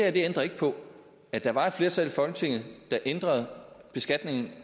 ændrer ikke på at der var et flertal i folketinget der ændrede beskatningen